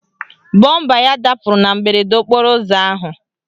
Bọmba ya dapụrụ na mberede okporo ụzọ ahụ.